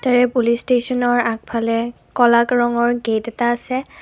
তাৰে পুলিচ ষ্টেচনৰ আগফালে ক'লা ৰঙৰ গেট এটা আছে।